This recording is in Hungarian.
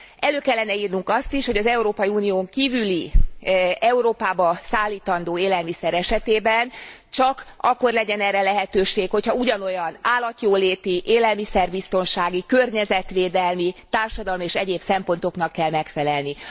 Elő kellene írnunk azt is, hogy az Európai Unión kívüli Európába szállítandó élelmiszer esetében csak akkor legyen erre lehetőség, ha ugyanolyan állatjóléti, élelmiszerbiztonsági, környezetvédelmi, társadalmi és egyéb szempontoknak kell megfelelni.